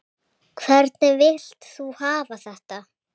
Hvernig vilt þú hafa þetta?